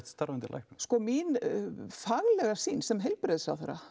starfandi læknum mín faglega sýn sem heilbrigðisráðherra